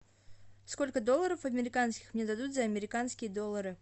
сколько долларов американских мне дадут за американские доллары